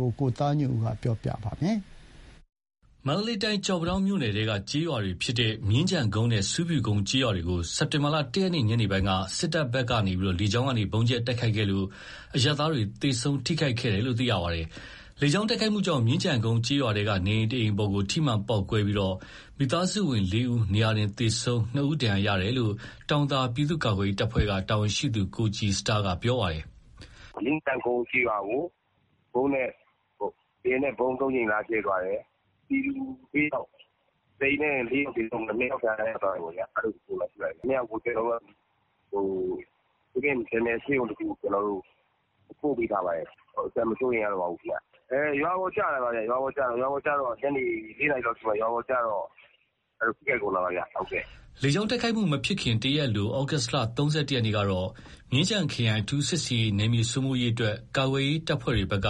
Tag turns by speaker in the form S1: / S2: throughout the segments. S1: ကို ကိုသားညွန့်ဦးက တင်ပြပေးထားပါတယ်။ မန္တလေးတိုင်း ကျောက်ပန်းတောင်းမြို့နယ်ထဲက ကျေးရွာဖြစ်တဲ့ မြင်းခြံကုန်းနဲ့ ဆူးဖြူကုန်းကျေးရွာတွေကိုစက်တင်ဘာ ၁ ရက် ညနေပိုင်းက စစ်တပ်က လေကြောင်းကနေ ဗုံးကြဲတိုက်ခိုက်ခဲ့လို့ အရပ်သားတွေ သေဆုံးထိခိုက်ခဲ့ရပါတယ်။ လေကြောင်းတိုက်ခိုက်မှုအတွင်း မြင်းခြံကုန်းကျေးရွာထဲက နေအိမ်တအိမ်အပေါ် ထိမှန်ပေါက်ကွဲပြီးမိသားစုဝင် ၄ ဦး နေရာတင်သေဆုံး၊ ၂ ဦး ဒဏ်ရာရရှိခဲ့တယ်လို့ တောင်သာ ပြည်သူ့ကာကွယ်ရေးတပ်ဖွဲ့က တာဝန်ရှိသူကိုကြည်စတားက ပြောပါတယ်
S2: ။ "မြင်းခြံကုန်းကျေးရွာကို လေယာဉ်နဲ့ ဗုံး ၃ ကြိမ် လာကြဲသွားတယ်။ ပြည်သူ ၄ ယောက် တအိမ်တည်း သေဆုံးသွားပြီး ၂ယောက် ဒဏ်ရာ ရသွားတယ်ပေါ့။ အဲ့ ၂ ယောက်ကို ဘေးကင်းမယ်ထင်တဲ့ ဆေးရုံတခုကို ပို့ပေးထားပါတယ်။ အသက်မစိုးရိမ်ရတော့ပါဘူးခင်ဗျ။ ရွာပေါ် ကျတယ်။ ညနေ ၄ နာရီလောက်ကြီး ရွာပေါ်ကျတော့ ထိခိုက်ကုန်တာပါ။
S1: " လေကြောင်း တိုက်ခိုက်မှုမဖြစ်ခင် တရက်အလို သြဂုတ် ၃၁ ရက်နေ့ကတော့ မြင်းခြံခရိုင် အထူးစစ်ဆင်ရေး နယ်မြေစိုးမိုးရေးအတွက် ဒေသကာကွယ်ရေးတပ်ဖွဲ့တွေက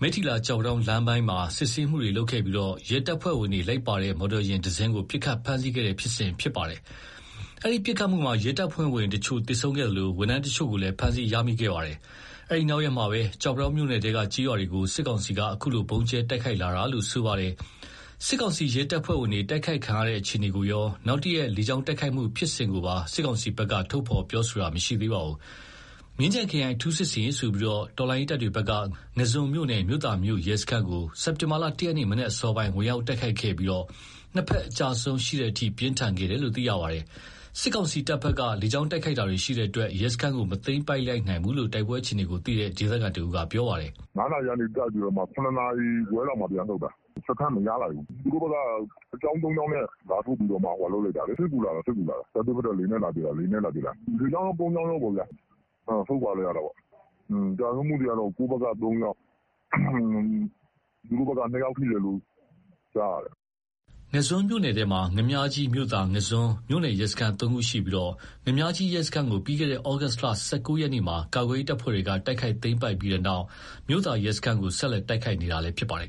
S1: မိထ္ထီလာ - ကျောက်ပန်းတောင်း လမ်းပိုင်းမှာ စစ်ဆေးတာတွေ လုပ်ခဲ့ပြီး ရဲတပ်ဖွဲ့ဝင်တွေ လိုက်ပါလာတဲ့ မော်တော်ယာဉ်ကို ပစ်ခတ်ဖမ်းဆီးခဲ့တဲ့ ဖြစ်စဉ်ရှိခဲ့ပါတယ်။ အဲ့ဒီပစ်ခတ်မှုမှာ ရဲတပ်ဖွဲ့ဝင်အချို့သေဆုံးခဲ့သလို ဝန်ထမ်းအချို့ကိုလည်း ဖမ်းဆီရမိခဲ့တာပါ။ အဲဒီနောက်ရက်မှာပဲကျောက်ပန်းတောင်း မြို့နယ်ထဲက ကျေးရွာတွေကို စစ်ကောင်စီက အခုလို ဗုံးကြဲတိုက်ခိုက်လာတာလို့ ဆိုပါတယ်။ စစ်ကောင်စီရဲတပ်ဖွဲ့ဝင်တွေ တိုက်ခိုက်ခံရတဲ့အခြေအနေကိုရော၊ နောက်တရက် လေကြောင်းတိုက်ခိုက်မှုဖြစ်စဉ်ကိုပါ စစ်ကောင်စီကတော့ ထုတ်ဖော်ပြောဆိုတာမရှိပါဘူး။ မြင်းခြံခရိုင် အထူးစစ်ဆင်ရေးဆိုပြီး တော်လှန်ရေးတပ်တွေဖက်က ငါန်းဇွန်မြို့နယ် မြို့သာမြို့ရဲစခန်းကို စက်တင်ဘာ ရက် မနက်အစောပိုင်း ဝင်ရောက်တိုက်ခိုက်ခဲ့ပြီး နှစ်ဘက်အကျအဆုံးရှိတဲ့အထိ ပြင်းထန်ခဲ့တယ်လို့သိရပါတယ်။စစ်တပ်ရဲ့ လေကြောင်းတိုက်ခိုက်မှုတွေကြောင့် ရဲစခန်းကို မသိမ်းပိုက်လိုက်နိုင်ဘူးလို့ တိုက်ပွဲအခြေအနေကိုသိရှိတဲ့ဒေသခံတဦးက ပြောပါတယ်။
S3: "၅ နာရီလောက်မှာတိုက်ပြီး ၇ နာရီခွဲလောက်မှာ ပြန်ဆုတ်တာ။ စခန်းမရလိုက်ဘူး။ သူတို့ဘက်က စစ်ကြောင်း ၃ကြောင်းနဲ့ စစ်ကူလာတာလေ။ တိုက်ပွဲဖြစ်တော့ လေယာဉ်နဲ့ လာပစ်တာ လေကြောင်းကော ကုန်းကြောင်းကောပေါ့ အဲ့တော့ ဆုတ်ခွာလိုက်ရတာပေါ့။ ကျဆုံးမှုတွေက ကိုယ့်ဘက်က ၃ ယောက်၊ သူတို့ဘက်က ၂ ယောက်ထိ တယ်လို့ ကြားတယ်။"
S1: ငါန်းဇွန်မြို့နယ်ထဲမှာ ငါန်းမြာကြီး ၊ မြို့သာ ၊ ငါန်းဇွန် မြို့နယ် ရဲစခန်း ၃ ခုရှိပြီး ငါန်းမြာကြီး ရဲစခန်းကို ပြီးခဲ့တဲ့ သြဂုတ်လ ၁၉ ရက်မှာ ကာကွယ်ရေး တပ်ဖွဲ့တွေ တိုက်ခိုက်သိမ်းပိုက်ခဲ့ပြီးနောက် မြို့သာ ရဲစခန်းကို ဆက်လက် တိုက်ခိုက်နေတာလည်းဖြစ်ပါတယ်